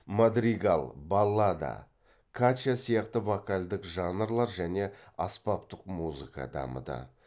мадригал баллада качча сияқты вокальдік жанрлар және аспаптық музыка дамыды